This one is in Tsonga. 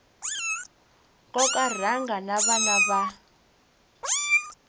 koka rhanga na vana va